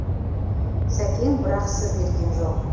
сәкең бірақ сыр берген жоқ